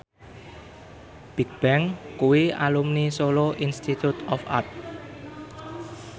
Bigbang kuwi alumni Solo Institute of Art